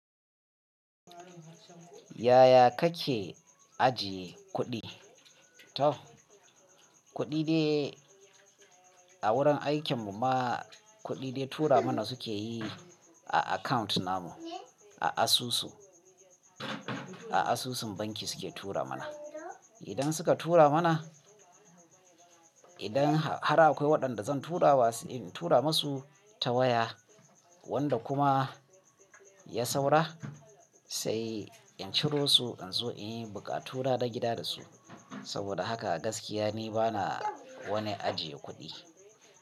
Yaya kake ajiye kuɗi? To kuɗi dai a wurin aikin mu ma kuɗi dai tura mana suke yi a account namu, a asusu, a asusun banki suke tura mana. Idan suka tura mana, idan har akwai waɗanda zan tura wa in tura masu ta waya wanda kuma ya saura sai in ciro su in zo in yi buƙatu na gida da su. Saboda haka gaskiya ni bana wani ajiye kuɗi.